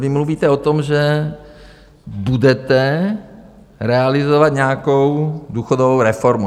Vy mluvíte o tom, že budete realizovat nějakou důchodovou reformu.